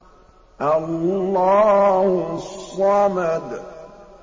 اللَّهُ الصَّمَدُ